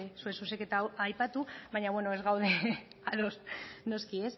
zure zuzenketa hau aipatu baino beno ez gaude ados noski